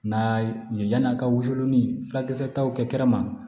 N'a ye yani a ka wusu ni furakisɛ taw kɛ kɛnɛ ma